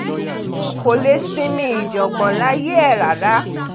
kò lè sinmi ìjàngbọ̀n láyé ẹ̀ rárá